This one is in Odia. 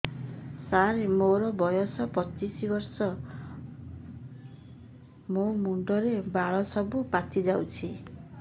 ସାର ମୋର ବୟସ ପଚିଶି ବର୍ଷ ମୋ ମୁଣ୍ଡରେ ବାଳ ସବୁ ପାଚି ଯାଉଛି